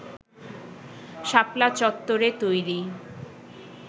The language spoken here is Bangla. শাপলা চত্বরে তৈরি